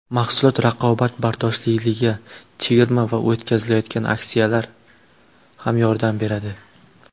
Mahsulot raqobatbardoshliligiga chegirma va o‘tkazilayotgan aksiyalar ham yordam beradi.